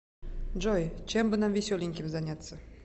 джой чем бы нам веселеньким заняться